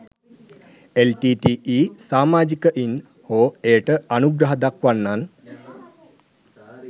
LTTE සාමාජිකයන් හෝ එයට අනුග්‍රහ දක්වන්නන්